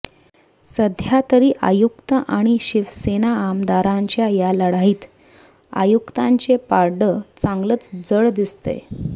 सध्या तरी आयुक्त आणि शिवसेना आमदारांच्या या लढाईत आयुक्तांचे पारडं चांगलच जड दिसतंय